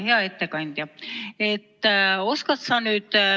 Hea ettekandja!